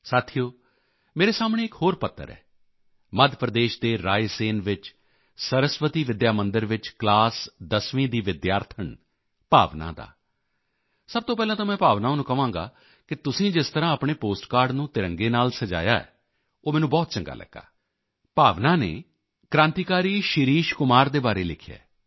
ਸਾਥੀਓ ਮੇਰੇ ਸਾਹਮਣੇ ਇੱਕ ਹੋਰ ਪੱਤਰ ਹੈ ਮੱਧ ਪ੍ਰਦੇਸ਼ ਦੇ ਰਾਏ ਸੇਨ ਵਿੱਚ ਸਰਸਵਤੀ ਵਿੱਦਿਆ ਮੰਦਿਰ ਵਿੱਚ ਕਲਾਸ 10th ਦੀ ਵਿਦਿਆਰਥਣ ਭਾਵਨਾ ਦਾ ਸਭ ਤੋਂ ਪਹਿਲਾਂ ਤਾਂ ਮੈਂ ਭਾਵਨਾ ਨੂੰ ਕਹਾਂਗਾ ਕਿ ਤੁਸੀਂ ਜਿਸ ਤਰ੍ਹਾਂ ਆਪਣੇ ਪੋਸਟਕਾਰਡ ਨੂੰ ਤਿਰੰਗੇ ਨਾਲ ਸਜਾਇਆ ਹੈ ਉਹ ਮੈਨੂੰ ਬਹੁਤ ਚੰਗਾ ਲੱਗਾ ਭਾਵਨਾ ਨੇ ਕ੍ਰਾਂਤੀਕਾਰੀ ਸ਼ਿਰੀਸ਼ ਕੁਮਾਰ ਦੇ ਬਾਰੇ ਲਿਖਿਆ ਹੈ